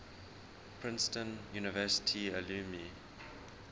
princeton university alumni